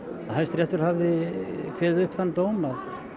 Hæstiréttur hafði kveðið upp þann dóm að